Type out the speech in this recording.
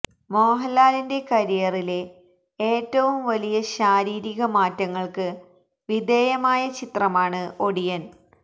മോഹന്ലാലി ന്റെ കരിയറിലെ ഏറ്റവും വലിയ ശാരീരിക മാറ്റങ്ങള്ക്ക് വിധേയമായ ചിത്രമാണ് ഒടിയന്